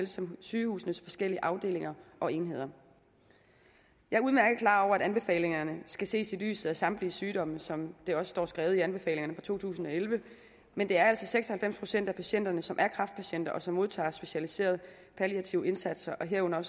som sygehusenes forskellige afdelinger og enheder jeg er udmærket klar over at anbefalingerne skal ses i lyset af samtlige sygdomme som det også står skrevet i anbefalingerne to tusind og elleve men det er altså seks og halvfems procent af patienterne som er kræftpatienter og som modtager specialiserede palliative indsatser herunder